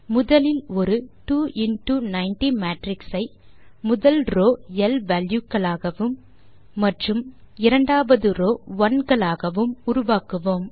முதலில் ஒரு 2 into 90 matrix ஐ முதல் ரோவ் எல் வால்யூ க்களாகவும் மற்றும் இரண்டாவது ரோவ் ஒனே களாகவும் உருவாக்குவோம்